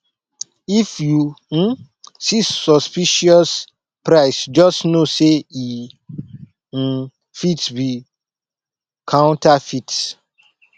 if you um see suspicious price just know say e um fit be counterfeit